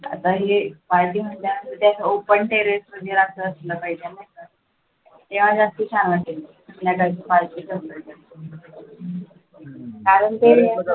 आता हे party म्हटल्यावर त्याचं open terrace असलं पाहिजे नाही का त्यावेळेस जास्त छान वाटेल कारण